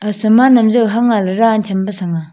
aga saman am jao hang aa le daan chhampe sanga